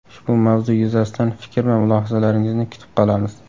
Ushbu mavzu yuzasidan fikr va mulohazalaringizni kutib qolamiz.